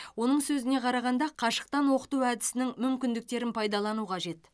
оның сөзіне қарағанда қашықтан оқыту әдісінің мүмкіндіктерін пайдалану қажет